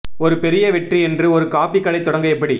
ஒரு பெரிய வெற்றி என்று ஒரு காபி கடை தொடங்க எப்படி